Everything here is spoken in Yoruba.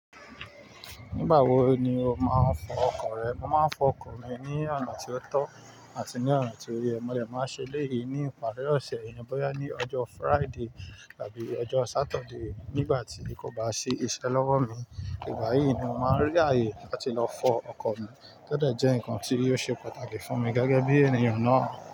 Nígbà wo ni o máa ń fọ ọkọ̀ rẹ? Mo máa ń fọ ọkọ̀ mi ní ọ̀na tí ó tọ́ àti ní ọ̀na tí ó yẹ. Mo de máa n ṣe léyìí ní ìparí ọ̀sẹ̀ bóyá ní ọjọ́ Friday àbí ọjọ́ Saturday. Nígbà tí kò bá sí ìṣẹ́ lọ́wọ́ mi, ìgbà yí ni mo máa rí ààyè láti lọ fọ ọkọ̀ mi. To de jẹ́ nǹkan tí yóò ṣe pàtàkì fún mi gẹ́gẹ́ bí ènìyàn náà.